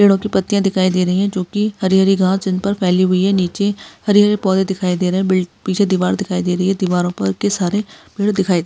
पेड़ों की पत्तियां दिखाई दे रही है जो कि हरी-हरी जिन पर फैली हुई है नीचे हरे-हरे पौधे दिखाई दे रहे हैं बिल पीछे दीवार दिखाई दे रही है दीवारों पर के सारे पेड़--